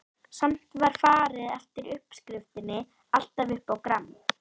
Samt var farið eftir uppskriftinni, alltaf upp á gramm.